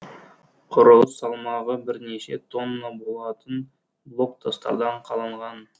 құрылыс салмағы бірнеше тонна болатын блок тастардан қаланған